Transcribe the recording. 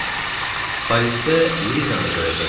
Parisdə Lizanı da görəcəkdik.